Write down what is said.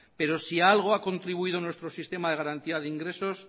pero si a algo ha contribuido nuestro sistema de garantía de ingresos